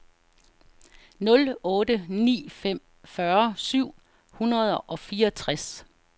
nul otte ni fem fyrre syv hundrede og fireogtres